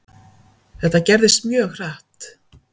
Þetta gerðist mjög hratt.